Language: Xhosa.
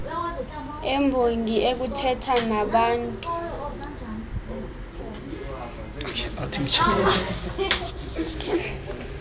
embongi okuthetha nabaantu